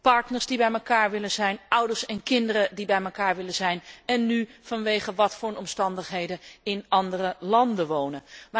Partners die bij elkaar willen zijn, ouders en kinderen die bij elkaar willen zijn en die nu, vanwege wat voor omstandigheden ook, in andere landen wonen.